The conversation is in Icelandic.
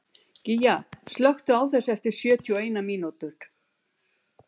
Gígja, slökktu á þessu eftir sjötíu og eina mínútur.